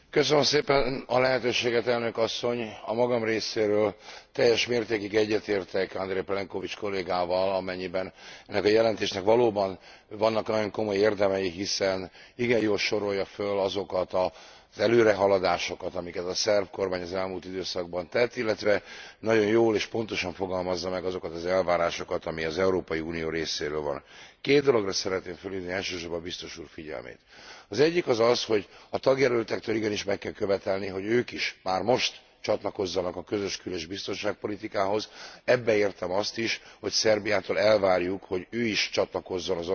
A magam részéről teljes mértékig egyetértek Andrej Plenkovic kollégával, amennyiben ennek a jelentésnek valóban vannak nagyon komoly érdemei, hiszen igen jól sorolja fel azokat az előrehaladásokat, amiket a szerb kormány az elmúlt időszakban tett, illetve nagyon jól és pontosan fogalmazza meg azokat az elvárásokat, ami az Európai Unió részéről van. Két dologra szeretném felhívni elsősorban a Biztos Úr figyelmét az egyik az az, hogy a tagjelöltektől igenis meg kell követelni, hogy ők is már most csatlakozzanak a közös kül és biztonságpolitikához, ebbe értem azt is, hogy Szerbiától elvárjuk, hogy ő is csatlakozzon az Oroszországgal szembeni szankciókhoz.